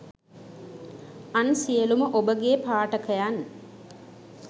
අන් සියලුම ඔබගේ පාඨකයන්